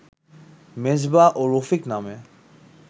মেজবা ও রফিক নামে